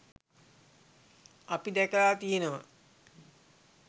අපි දැකලා තියනවා